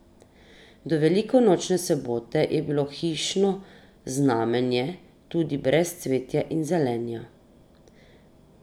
Do velikonočne sobote je bilo hišno znamenje tudi brez cvetja in zelenja.